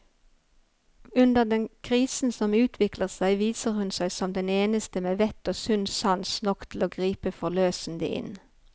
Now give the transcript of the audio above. Under den krisen som utvikler seg, viser hun seg som den eneste med vett og sunn sans nok til å gripe forløsende inn.